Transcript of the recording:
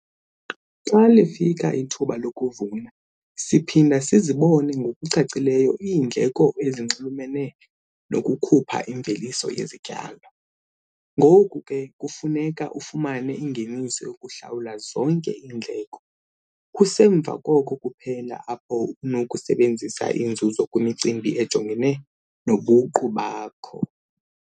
Xa lifika ithuba lokuvuna, siphinda sizibone ngokucacileyo iindleko ezinxulumene nokukhupha imveliso yezityalo - ngoku kufuneka ufumane ingeniso yokuhlawula zonke iindleko. Kusemva koko kuphela apho unokusebenzisa inzuzo kwimicimbi ejongene nobuqu bakho.